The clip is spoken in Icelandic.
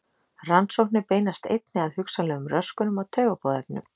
Rannsóknir beinast einnig að hugsanlegum röskunum á taugaboðefnum.